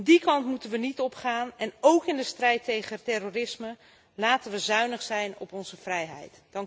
Die kant moeten we niet opgaan en ook in de strijd tegen terrorisme laten we zuinig zijn op onze vrijheid.